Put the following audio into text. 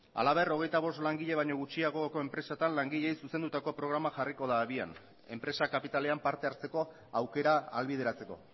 halaber hogeita bost langile baino gutxiagoko enpresetan langileei zuzendutako programa jarriko da abian enpresa kapitalean parte hartzeko aukera ahalbideratzeko